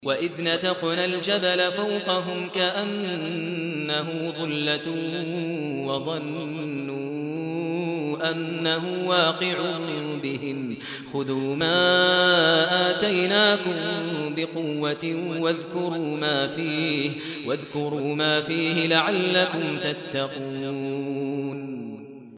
۞ وَإِذْ نَتَقْنَا الْجَبَلَ فَوْقَهُمْ كَأَنَّهُ ظُلَّةٌ وَظَنُّوا أَنَّهُ وَاقِعٌ بِهِمْ خُذُوا مَا آتَيْنَاكُم بِقُوَّةٍ وَاذْكُرُوا مَا فِيهِ لَعَلَّكُمْ تَتَّقُونَ